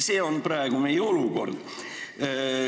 Selline on praegu meie olukord.